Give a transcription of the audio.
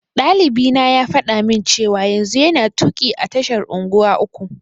Ɗalibina ya faɗa min cewa yanzu yana tuƙi a tashar unguwa uku.